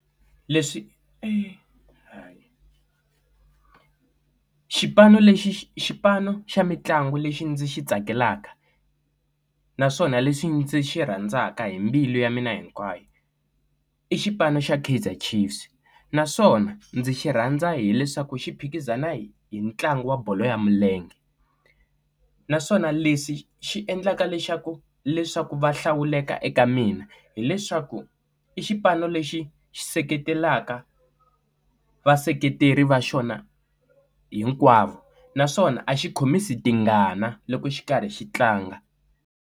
Leswi xipano lexi xi xipano xa mintlango lexi ndzi xi tsakelaka naswona leswi ndzi xi rhandzaka hi mbilu ya mina hinkwayo i xipano xa Kaizer Chiefs naswona ndzi xi rhandza hileswaku xi phikizana hi hi ntlangu wa bolo ya milenge naswona lexi xi endlaka lexaku leswaku va hlawuleka eka mina hileswaku i xipano lexi xi seketelaka vaseketeri va xona hinkwavo naswona a xi khomisi tingana loko xi karhi xi tlanga.